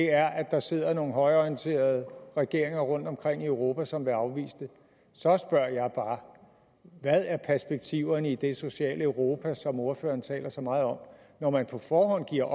er at der sidder nogle højreorienterede regeringer rundtomkring i europa som vil afvise det så spørger jeg bare hvad er perspektiverne i det sociale europa som ordføreren taler så meget om når man på forhånd giver